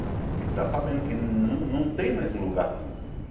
Porque ele está sabendo que não não tem mais um lugar assim.